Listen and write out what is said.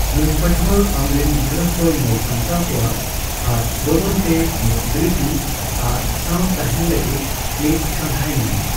ᱱᱩᱭ ᱯᱟᱹᱴᱷᱣᱟ ᱟᱢᱨᱤᱱ ᱜᱤᱫᱽᱨᱟᱹ ᱠᱚᱭ ᱧᱮᱞᱥᱟᱢᱴᱟᱣ ᱠᱚᱣᱟ ᱟᱨ ᱵᱚᱫᱚᱞ ᱛᱮ ᱢᱤᱫ ᱵᱨᱤᱛᱤ ᱟᱨ ᱥᱟᱣ ᱛᱟᱦᱮᱱ ᱞᱟᱹᱜᱤᱫ ᱢᱤᱫ ᱠᱟᱸᱫᱷᱟᱭ ᱧᱟᱢᱟ ᱾